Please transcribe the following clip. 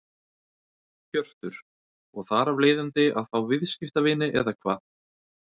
Hjörtur: Og þar af leiðandi að fá viðskiptavini eða hvað?